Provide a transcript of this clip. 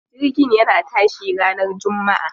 Jirgin yana tashi ranar jummaa.